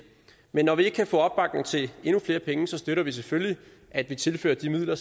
men når vi ikke kan få opbakning til endnu flere penge støtter vi selvfølgelig at vi tilfører de midler